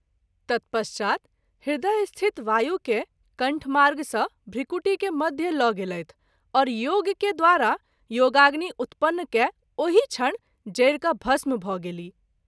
तत्पश्चात् हृदयस्थित वायु के कण्ठमार्ग सँ भृकुटी के मध्य ल’ गेलैथ और योग के द्वारा योगाग्नि उत्पन्न कए ओहि क्षण जरि क’ भस्म भ’ गेलीह।